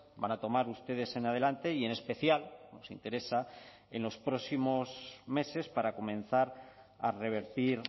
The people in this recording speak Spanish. van a tomar ustedes en adelante y en especial nos interesa en los próximos meses para comenzar a revertir